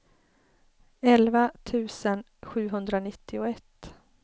elva tusen sjuhundranittioett